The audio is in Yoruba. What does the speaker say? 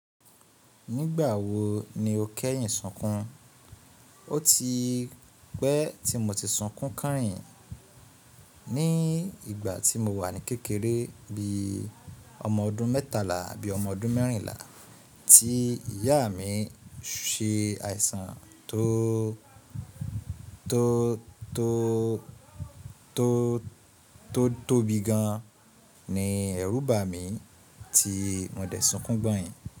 Nígbà wo ni o kẹ́yìn sunkùn? Ó ti pẹ́ tí mo ti sunkùn kánhìn. Ní ìgbà tí mo wà ní kékeré bí i ọmọ ọdún mẹ́tàlá àbí ọmọ ọdún mẹ́rìnlá, tí ìyá mi se àìsàn tó tó tó tó tóbi gan ní ẹ̀rù bà mí tí mo dẹ̀ sunkùn gbọ́yìn.